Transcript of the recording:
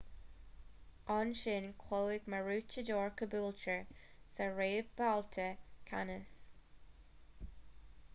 ansin chloígh maroochydore caboolture sa réamhbhabhta ceannais